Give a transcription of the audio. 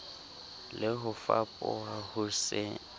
le ho fapoha ho se